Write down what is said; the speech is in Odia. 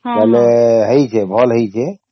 ଭଲ ହେଇଛେ ଭଲ ହେଇଛେ